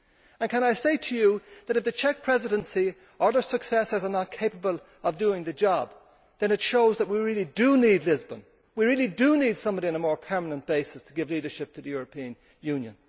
I would say to you that if the Czech Presidency, or its successors, is not capable of doing the job, then it shows that we really do need Lisbon we really do need somebody on a more permanent basis to give leadership to the European Union.